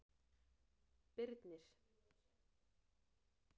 Birnir